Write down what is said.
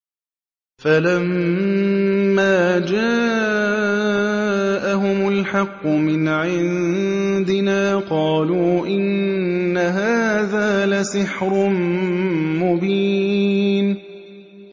فَلَمَّا جَاءَهُمُ الْحَقُّ مِنْ عِندِنَا قَالُوا إِنَّ هَٰذَا لَسِحْرٌ مُّبِينٌ